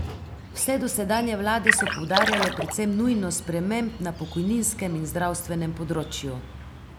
Vse dosedanje vlade so poudarjale predvsem nujnost sprememb na pokojninskem in zdravstvenem področju.